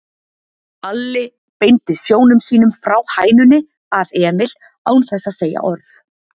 Alli beindi sjónum sínum frá hænunni að Emil án þess að segja orð.